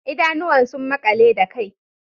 Idanuwan sun makale da kai